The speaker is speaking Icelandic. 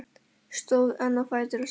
Stóð enn á fætur og sagði: